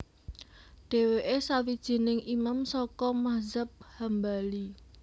Dhéwéké sawijining Imam saka madzhab Hambali